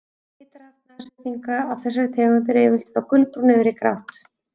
Litarhaft nashyrninga af þessari tegund er yfirleitt frá gulbrúnu yfir í grátt.